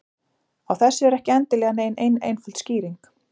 Á þessu er ekki endilega nein ein einföld skýring.